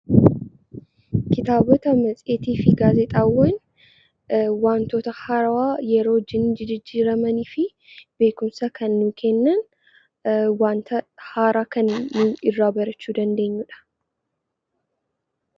Kitaabota matseetii fi gaazexaawwan Waantoota haarawaa yerootii gara yerootti jijjiiramanii fi beekumsa kan nuuf kennuu waanta haaraa kan irraa barachuu dandeenyudha.